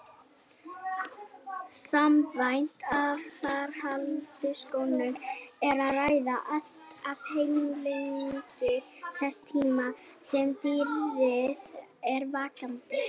Samkvæmt atferlisrannsóknum er um að ræða allt að helmingi þess tíma sem dýrið er vakandi.